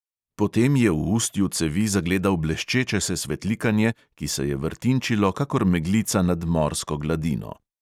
Potem je v ustju cevi zagledal bleščeče se svetlikanje, ki se je vrtinčilo kakor meglica nad morsko gladino.